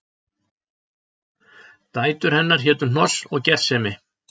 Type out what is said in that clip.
Dætur hennar hétu Hnoss og Gersemi